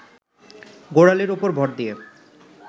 গোড়ালির ওপর ভর দিয়ে